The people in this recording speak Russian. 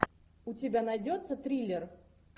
у тебя найдется триллер